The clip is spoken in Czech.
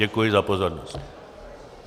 Děkuji za pozornost.